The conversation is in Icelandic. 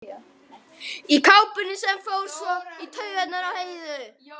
Í kápunni sem fór svo í taugarnar á Heiðu.